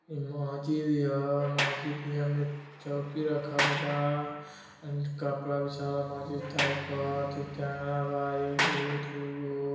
ई मस्जिद हिया मस्जिद हिया में चौकी रखल बा एंड कपड़ा बिछावल बा मस्जिद जांगला बा एगो दुगो --